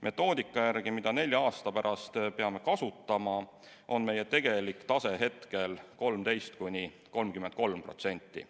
Metoodika järgi, mida nelja aasta pärast peame kasutama, on meie tegelik tase hetkel 13–33%.